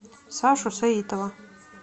сашу саитова